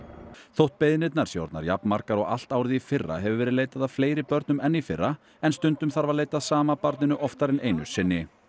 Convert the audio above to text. þótt beiðnirnar séu orðnar jafnmargar og allt árið í fyrra hefur verið leitað að fleiri börnum en í fyrra en stundum þarf að leita að sama barninu oftar en einu sinni